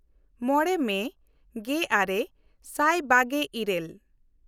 ᱢᱚᱬᱮ ᱢᱮ ᱜᱮᱼᱟᱨᱮ ᱥᱟᱭ ᱵᱟᱜᱮᱼᱤᱨᱟᱹᱞ